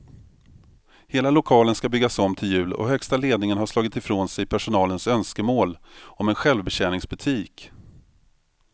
Hela lokalen ska byggas om till jul och högsta ledningen har slagit ifrån sig personalens önskemål om en självbetjäningsbutik.